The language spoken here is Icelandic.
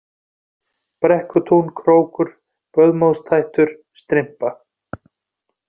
Brekkutún, Krókur, Böðmóðstættur, Strympa